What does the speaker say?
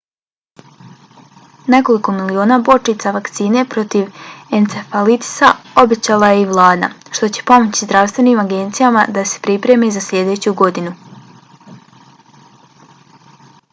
nekoliko miliona bočica vakcine protiv encefalitisa obećala je i vlada što će pomoći zdravstvenim agencijama da se pripreme za sljedeću godinu